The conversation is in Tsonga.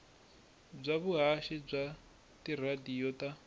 bya vuhaxi bya tiradiyo ta